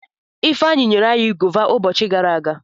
Ifeanyi nyere anyi gọva ubochi gara aga.